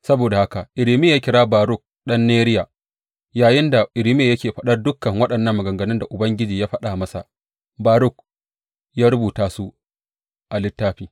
Saboda haka Irmiya ya kira Baruk ɗan Neriya, yayinda Irmiya yake fadar dukan waɗannan maganganun da Ubangiji ya faɗa masa, Baruk ya rubuta su a littafin.